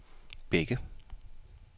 Bække